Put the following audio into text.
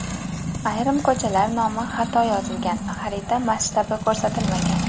Ayrim ko‘chalar nomi xato yozilgan, xarita masshtabi ko‘rsatilmagan.